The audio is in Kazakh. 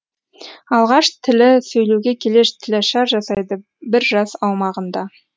алғаш тілі сөйлеуге келе тілашар жасайды бір жас аумағында